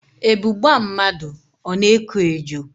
Ebu gbaa mmadụ, ọ na-eko ejo